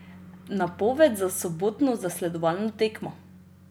Napoved za sobotno zasledovalno tekmo?